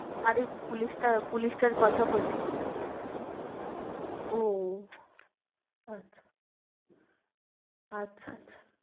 আরে পুলিশটা পুলিশটার কথা বলছি ও আচ্ছা আচ্ছা আচ্ছা।